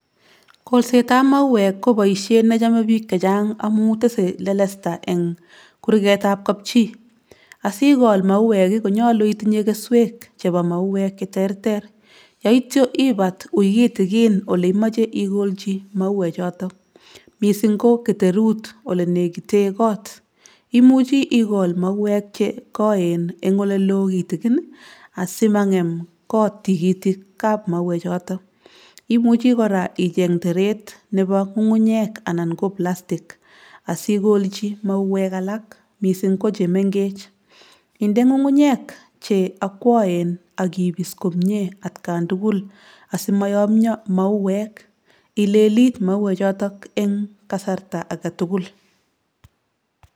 Kolsetab mauek ko boisiet nechome biik chachang' amu tese lelesta eng' kurgetab kapchi. Asikool mauek, ko nyolu itinye keswek chebo mauek che terter. Yoityo ibat wui kitigin ole imoche ikolji mauek choto, missing ko keterut ole negiten koot. Imuchi ikool mauek chekoen eng' oleloo kitigin, asimang'em koot tigitikab mauek choton. Imuchi koraa icheng' teret nepo ng'ung'unyek anan ko plastic asikolji mauek alak missing ko chemeng'ech. Inde ng'ung'unyek che akwoen ak ibis komie atkan tugul asimoyomio mauek. Ilelit mauek choton en kasarta age tugul.